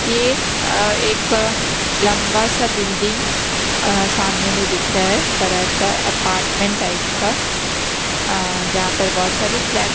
ये अ एक लंबा सा बिल्डिंग अ सामने में दिख रहा है बड़ा सा अपार्टमेंट टाइप का अ जहां पर बहुत सारी फ्लैट --